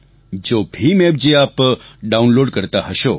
જો ભીમ એપ જે આપ ડાઉનલોડ કરતા હશો